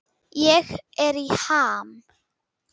Ég er í ham.